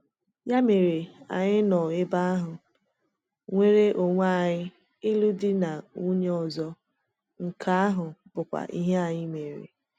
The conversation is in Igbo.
Ya mere, anyị nọ ebe ahụ, nwere onwe anyị ịlụ di na nwunye ọzọ—nke ahụ bụkwa ihe anyị mere.